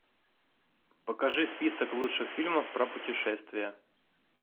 покажи список лучших фильмов про путешествия